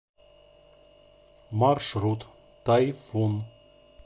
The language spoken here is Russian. маршрут тайфун